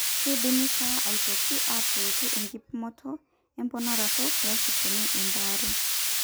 keidimi taa aitoki aatuutu enkipimoto emponaroto peesipuni embaare.